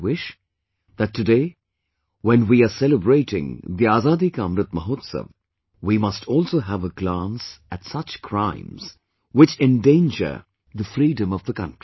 I wish that, today, when we are celebrating the Azadi Ka Amrit Mahotsav we must also have a glance at such crimes which endanger the freedom of the country